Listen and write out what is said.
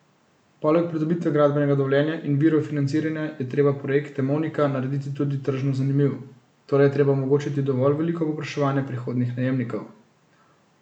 Poleg pridobitve gradbenega dovoljenja in virov financiranja je treba projekt Emonika narediti tudi tržno zanimiv, torej je treba omogočiti dovolj veliko povpraševanje prihodnjih najemnikov.